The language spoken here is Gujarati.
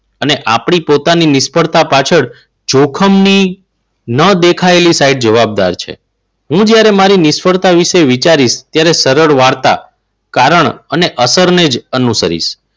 અને આપણી પોતાની નિષ્ફળતા પાછળ જોખમની ન દેખાયેલી સાઇડ જવાબદાર છે. હું જ્યારે મારી નિષ્ફળતા વિશે વિચારીશ ત્યારે સરળ વાર્તા કારણ અને અસરને જ અનુસરીઝ.